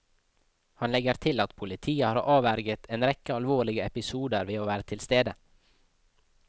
Han legger til at politiet har avverget en rekke alvorlige episoder ved å være tilstede.